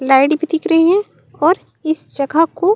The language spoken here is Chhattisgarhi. लाइट भी दिख रही है और इस जगह को--